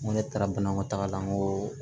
N ko ne taara banakɔ taga la n ko